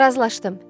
Razılaşdım.